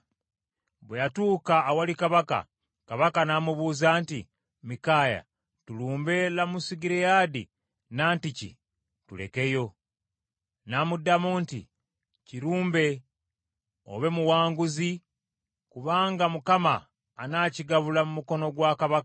Bwe yatuuka awali kabaka, kabaka n’amubuuza nti, “Mikaaya tulumbe Lamosugireyaadi, nantiki tulekeyo?” N’amuddamu nti, “Kirumbe obe muwanguzi kubanga Mukama anakigabula mu mukono gwa kabaka.”